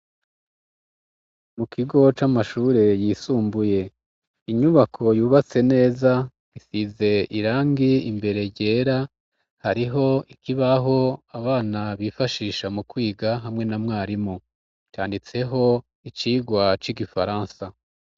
Mu kigo c'amashure yisumbuye inyubako yubatse neza isize irangi imbere ryera hariho ikibaho abana bifashisha mu kwiga hamwe na mwarimu canditseho icigwa c'igifaransa.